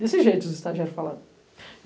Desse jeito, os estagiários falaram.